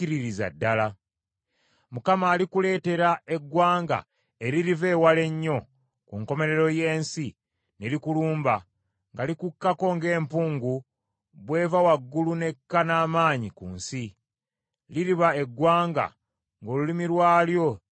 Mukama alikuleetera eggwanga eririva ewala ennyo, ku nkomerero y’ensi, ne likulumba, nga likukkako ng’empungu bw’eva waggulu n’ekka n’amaanyi ku nsi; liriba eggwanga ng’olulimi lwalyo tolutegeera.